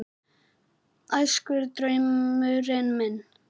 Æskudraumurinn minn?